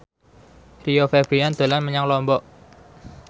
Rio Febrian dolan menyang Lombok